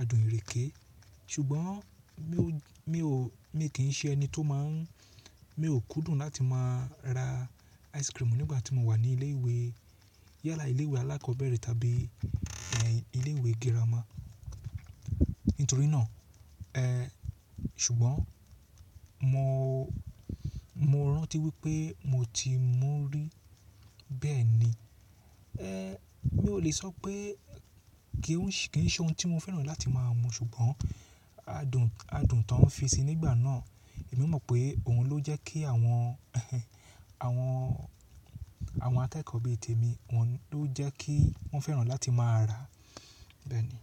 adùn ìrèké. Ṣùgbọ́n mi ò kí n ṣe ẹni tó má ń, mi ò kúndùn láti má ra ice cream nígbà tí mo wà ní ilé ìwé, yálà ilé ìwé alákọ̀ọ́bẹ̀rẹ̀ tàbí ilé ìwé girama. Nítorí náà, ṣùgbọ́n mo rántí wípé mo ti mú rí. Bẹ́ẹ̀ ni, mi ò le sọ pé kì í ṣe ohun tí mo fẹ́ràn láti má a mu ṣùgbọ́n adùn tó ń fi sí i nígbà náà, èmi mọ̀ pé ohun ló jẹ́ kí àwọn akẹ́kọ̀ọ́ bi tèmi, ọhun ló jẹ́ kí wọ́n fẹ́ràn láti má a rà. Bẹ́ẹ̀ ni.